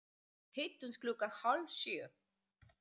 Hittumst klukkan hálf sjö.